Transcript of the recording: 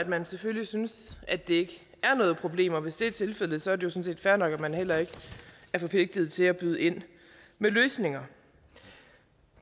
man selvfølgelig synes at det er noget problem og hvis det er tilfældet sådan set fair nok at man heller ikke er forpligtet til at byde ind med løsninger